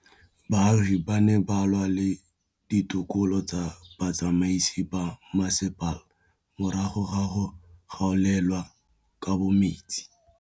Baagi ba ne ba lwa le ditokolo tsa botsamaisi ba mmasepala morago ga go gaolelwa kabo metsi